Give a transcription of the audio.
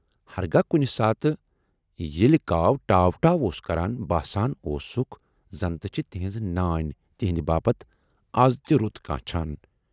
ہرگاہ کُنہِ ساتہٕ ییلہِ کاو"ٹاو ٹاو"اوس کَران، باسان اوسُکھ زنتہِ چھِ تِہٕنز نانۍ تِہٕندِ باپتھ از تہِ رُت کانچھان۔